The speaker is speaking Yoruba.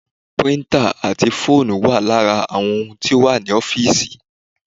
Píríntà ati fóònù wa lara àwọn ohun tí ó wà ní ọ́físì